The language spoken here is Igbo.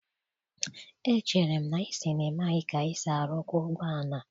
Echere m na ị sị na ị maghị ka esi arụkwa ụgbọ ala?